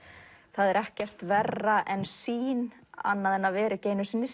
það er ekkert verra en sýn annað en að vera ekki einu sinni